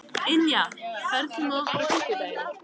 Ynja, ferð þú með okkur á fimmtudaginn?